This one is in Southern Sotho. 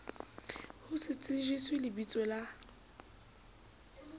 ho se tsejiswe lebiso la